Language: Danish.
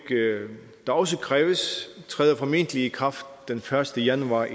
der også kræves træder formentlig i kraft den første januar